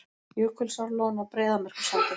Jökulsárlón á Breiðamerkursandi.